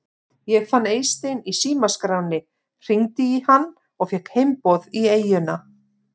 Ég fann Eystein í símaskránni, hringdi í hann og fékk heimboð í eyjuna.